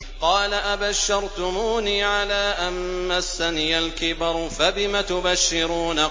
قَالَ أَبَشَّرْتُمُونِي عَلَىٰ أَن مَّسَّنِيَ الْكِبَرُ فَبِمَ تُبَشِّرُونَ